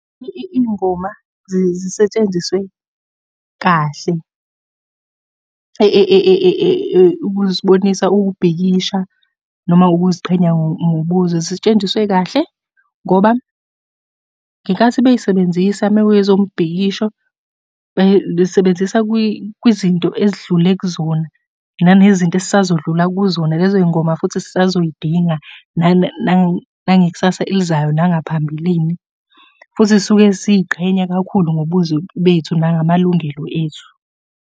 Iy'ngoma zisetshenziswe kahle, ukusibonisa ukubhikisha noma ukuziqhenya ngobuzwe. Zisetshenziswe kahle, ngoba ngenkathi bey'sebenzisa uma kuyezombhikisho, sebenzisa kwizinto esidlule kuzona, nanezinto esisazodlula kuzona. Lezo iy'ngoma futhi sisazoy'dinga nangekusasa elizayo, nangaphambilini, futhi suke siy'qhenya kakhulu ngobuzwe bethu nangamalungelo ethu.